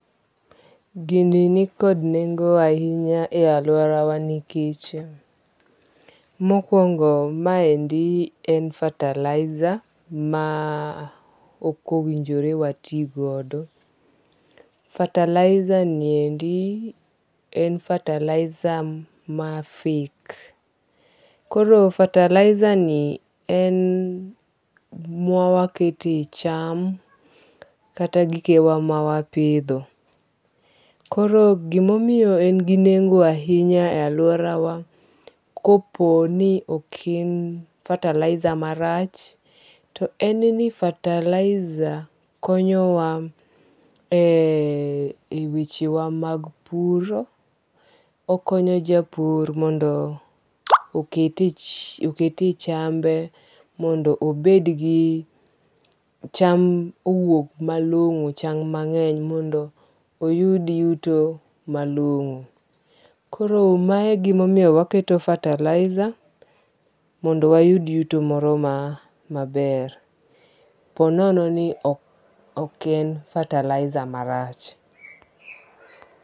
Gini nikod nengo ahinya e aluorawa nikech mokwongo ma endi en fertilizer ma ok owinjore wati godo. Fertilizer ni endi en fertilizer ma fake. Koro fertilizer ni en ma wakete cham kata gike wa ma wapidho. Koro gimomiyo en gi nengo ahinya e aluora wa kopo ni oken fertilizer marach to en ni fertilizer konyo wa e weche wa mag puro. Okonyo japur mondo okete chambe mondo obed gi cham owuog malong'o, cham mang'eny mondo oyud yuto malong'o. Koro mae e gimomiyo waketo fertilizer mondo wayud yuto moro maber, ponono ni ok en fertilizer marach.